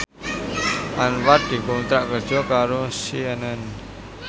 Anwar dikontrak kerja karo CNN